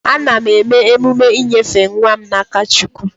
Ana m eme emume inyefe nwa m na-aka Chukwu.